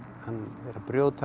er að brjótast